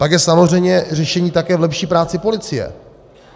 Pak je samozřejmě řešení také v lepší práci policie.